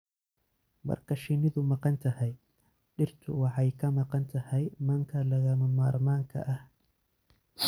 Marka shinnidu maqan tahay, dhirtu waxay ka maqan tahay manka lagama maarmaanka ah.